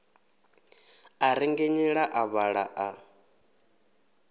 a rengenyela a vhaḓa a